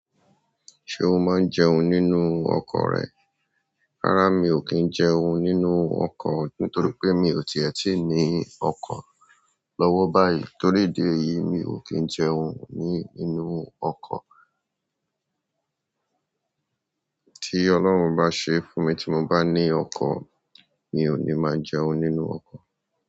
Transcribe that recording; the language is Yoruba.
Ṣé o máa ń jẹun nínú ọkọ̀ rẹ? Rárá mi ò kí ń jẹun nínú ọkọ̀ nítorí pé mi ò tí ẹ ti ní ọkọ̀ lọ́wọ́ báyìí. Torí idi eyìí mi ò kí ń jẹun ní inú ọkọ̀. Tí Ọlọ́run bá ṣe fún mi tí mo bá ní ọkọ̀, mi ò ní máa jẹun nínú ọkọ̀.